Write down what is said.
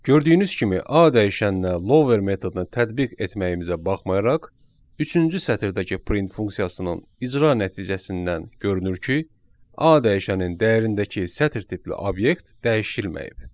Gördüyünüz kimi A dəyişəninə lower metodunu tətbiq etməyimizə baxmayaraq, üçüncü sətirdəki print funksiyasının icra nəticəsindən görünür ki, A dəyişənin dəyərindəki sətir tipli obyekt dəyişilməyib.